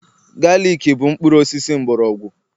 galik bụ mkpụrụ osisi mgbọrọgwụ